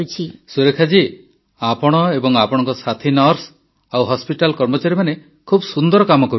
ସୁରେଖା ଜୀ ଆପଣ ଏବଂ ଆପଣଙ୍କ ସାଥୀ ନର୍ସ ଓ ହସପିଟାଲ୍ କର୍ମଚାରୀମାନେ ଖୁବ୍ ସୁନ୍ଦର କାମ କରୁଛନ୍ତି